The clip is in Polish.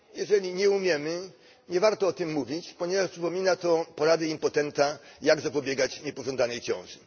Jeżeli nie umiemy, nie warto o tym mówić, ponieważ przypomina to porady impotenta, jak zapobiegać niepożądanej ciąży.